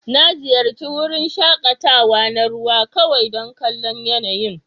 Na ziyarci wurin shakatawa na ruwa kawai don kallon yanayin.